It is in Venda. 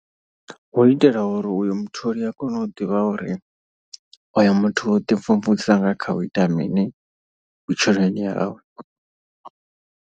Hu itela uri uyo mutholi u a kone u ḓivha uri oyo muthu u ḓi mvumvusa nga kha u ita mini vhutshiloni hawe.